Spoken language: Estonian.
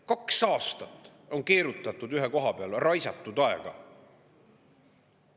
Kaks aastat on keerutatud ühe koha peal ja raisatud aega.